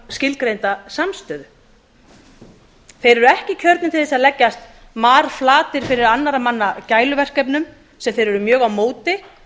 skilgreinda samstöðu þeir eru ekki kjörnir til þess að leggjast marflatir fyrir annarra manna gæluverkefnum sem þeir eru mjög á móti